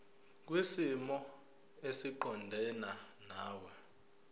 kwisimo esiqondena nawe